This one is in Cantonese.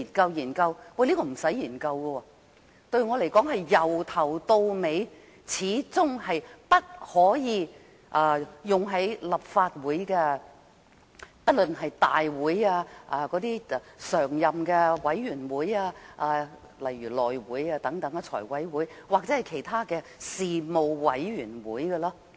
我認為根本不用研究，因為對我而言，這法例始終是不可用於立法會的，不論是大會、委員會如內務委員會、財務委員會等，或其他的事務委員會。